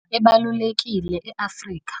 IsiNgisi sinendima ebalulekile e-Afrika,